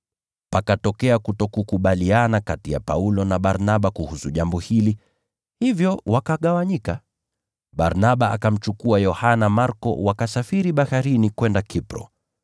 Pakatokea ubishi mkali kati ya Paulo na Barnaba kuhusu jambo hili, hivyo wakagawanyika. Barnaba akamchukua Yohana Marko wakasafiri baharini kwenda Kipro.